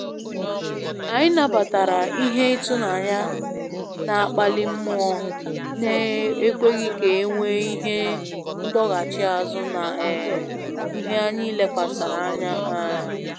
Anyị nabatara ihe ịtụnanya na akpali mmụọ na ekweghị ka enwee Ihe ndọchigha azụ na um ihe anyị lekwasara anya um